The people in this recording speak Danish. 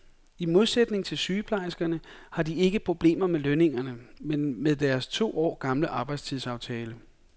I modsætning til sygeplejerskerne har de ikke problemer med lønningerne, men med deres to år gamle arbejdstidsaftale.